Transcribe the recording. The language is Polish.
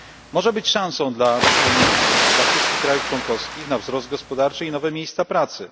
Może być szansą dla Unii, dla wszystkich krajów członkowskich, szansą na wzrost gospodarczy i nowe miejsca pracy.